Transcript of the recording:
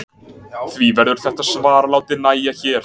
Því verður þetta svar látið nægja hér.